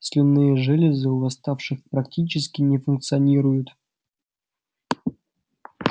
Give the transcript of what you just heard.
слюнные железы у восставших практически не функционируют